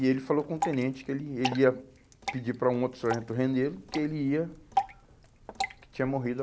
E ele falou com o tenente que ele, ele ia pedir para um outro sargento rendê-lo, que ele ia, que tinha morrido.